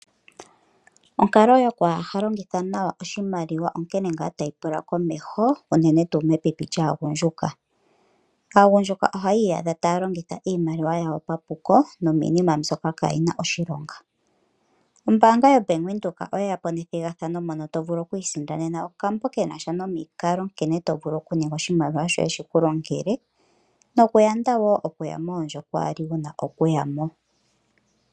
Onkalo yoku ha longitha nawa oshimaliwa onkene ngaa tayi pula komeho, unene tuu mepipi lyaagundjuka. Aagundjuka ohayi iyadha taya longitha iimaliwa yawo papuko, nomiinima mbyoka kayina oshilonga. Ombaanga ya Venduka oye ya po nethigathano moka tovulu okusindana okambo kenasha nomikalo nkene tovulu okuninga oshimaliwa shoye shiku longele, nokuyanda wo okuya moondjo kawa li wu na okuyamo.